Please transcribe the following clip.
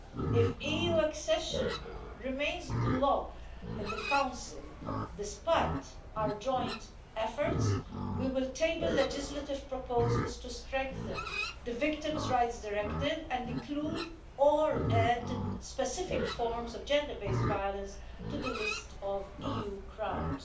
If EU accession remains blocked in the Council, despite our joint efforts, we will table legislative proposals to strengthen the Victims' Rights Directive and include or add specific forms of gender based violence to the list of EU crimes.